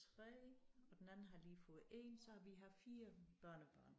3 og den anden har lige fået 1 så vi har 4 børnebørn